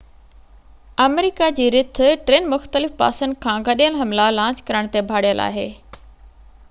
آمريڪا جي رٿ ٽن مختلف پاسن کان گڏيل حملا لانچ ڪرڻ تي ڀاڙيل آهي